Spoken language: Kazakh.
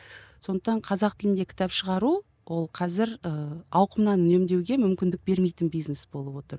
ы сондықтан қазақ тілінде кітап шығару ол қазір ыыы ауқымнан үнемдеуге мүмкіндік бермейтін бизнес болып отыр